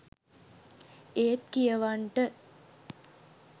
ඒත් කියවන්ට